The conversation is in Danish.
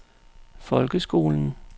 folkeskolen